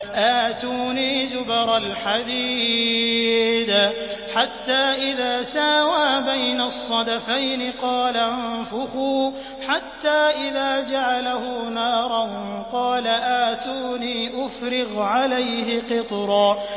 آتُونِي زُبَرَ الْحَدِيدِ ۖ حَتَّىٰ إِذَا سَاوَىٰ بَيْنَ الصَّدَفَيْنِ قَالَ انفُخُوا ۖ حَتَّىٰ إِذَا جَعَلَهُ نَارًا قَالَ آتُونِي أُفْرِغْ عَلَيْهِ قِطْرًا